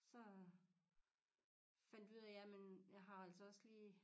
Så fandt vi ud af jamen jeg har altså også lige